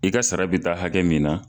I ka sara bɛ taa hakɛ min na.